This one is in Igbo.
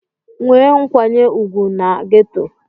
Nwee nkwanye ùgwù na geto!